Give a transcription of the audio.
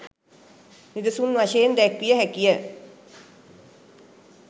නිදසුන් වශයෙන් දැක්විය හැකිය.